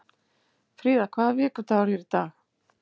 Fríða, hvaða vikudagur er í dag?